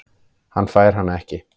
Hann fær hana ekki.